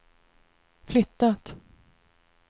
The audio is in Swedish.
flyttat